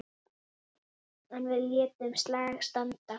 En við létum slag standa.